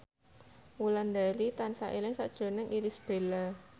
Wulandari tansah eling sakjroning Irish Bella